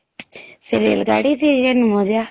ସେ ରେଳ ଗାଡ଼ିରେ ଯେ ମଜା